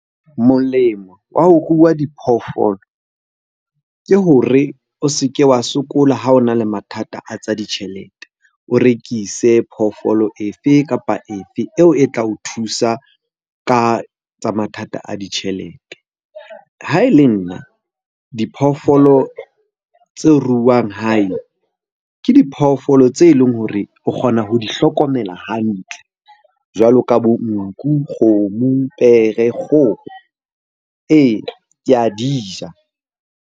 Molemo wa ho rua diphoofolo ke hore o se ke wa sokola ha o na le mathata a tsa ditjhelete. O rekise phoofolo efe kapa efe eo e tla o thusa ka tsa mathata a ditjhelete. Ha e le nna diphoofolo tse ruwang hae, ke diphoofolo tse leng hore o kgona ho di hlokomela hantle jwalo ka bo nku, kgomo, pere, kgoho. Ee, ke a di ja.